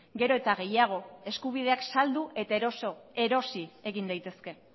gero eta gehiago eskubideak saldu eta erosi egin daitezke